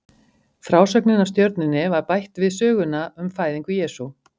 Frásögnin af stjörnunni var bætt við í söguna um fæðingu Jesú.